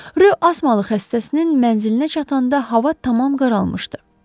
Ro Asmalı xəstəsinin mənzilinə çatanda hava tamam qaralmışdı.